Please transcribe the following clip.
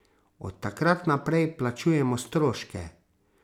Od takrat naprej plačujemo stroške.